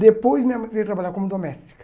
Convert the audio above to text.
Depois minha mãe veio trabalhar como doméstica.